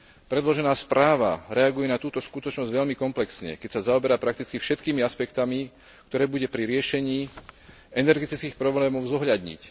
Predložená správa reaguje na túto skutočnosť veľmi komplexne, keď sa zaoberá prakticky všetkými aspektmi, ktoré bude pri riešení energetických problémov treba zohľadniť.